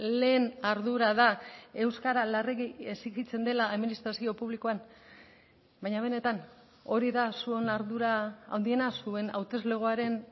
lehen ardura da euskara larregi exijitzen dela administrazio publikoan baina benetan hori da zuen ardura handiena zuen hauteslegoaren